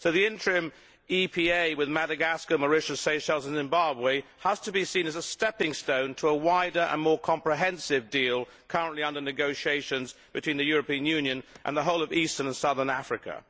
So the interim EPA with Madagascar, Mauritius, Seychelles and Zimbabwe has to be seen as a stepping stone to a wider and more comprehensive deal currently under negotiation between the European Union and the whole of Eastern and Southern Africa.